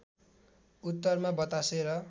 उत्तरमा बतासे र